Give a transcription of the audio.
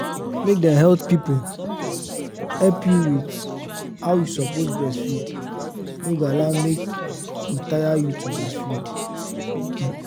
make dem health people help you with how you suppose breastfeed no go allow make e tire you to breastfeed.